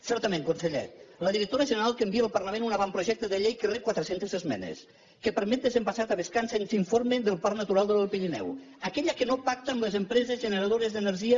certament conseller la directora general que envia al parlament un avantprojecte de llei que rep quatre centes esmenes que permet desembassar tavascan sense informe del parc natural de l’alt pirineu aquella que no pacta amb les empreses generadores d’energia